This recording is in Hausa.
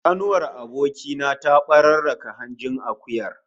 Kanuwar aboki na ta bararraka hanjin akuyar